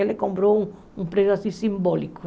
Ele comprou um preço assim simbólico.